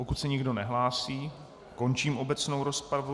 Pokud se nikdo nehlásí, končím obecnou rozpravu.